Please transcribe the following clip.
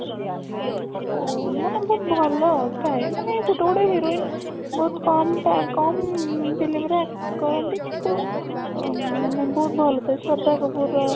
ଓ ମାନେ ବହୁତ ଭଲ ଥାଏ ମାନେ ଗୋଟେ ଗୋଟେ heroine ବହୁତ କମ ତା କମ film ରେ act କରନ୍ତି କିନ୍ତୁ ଅ ମାନେ ବହୁତ ଭଲ ସେ ଶ୍ରଦ୍ଧା କପୂର ର